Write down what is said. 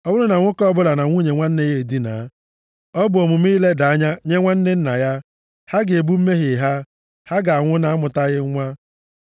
“ ‘Ọ bụrụ na nwoke ọbụla na nwunye nwanne nna ya edinaa, ọ bụ omume ileda anya nye nwanne nna ya. Ha ga-ebu mmehie ha. Ha ga-anwụ na-amụtaghị nwa.